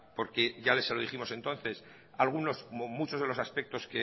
porque ya se lo dijimos entonces algunos o muchos de los aspectos